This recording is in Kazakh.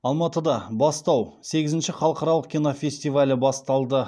алматыда бастау сегізінші халықаралық кинофестивалі басталды